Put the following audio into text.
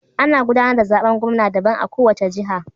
Ana gudanar da zaben gwamna daban a kowace jiha.